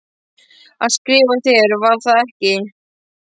Hann skrifaði þér, var það ekki?